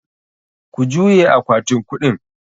Ku juye akwatin kuɗin!